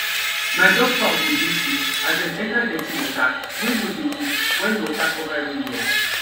my duck fowl go dey sick as dem enter dirty water wey no dey move wen water cover everywhere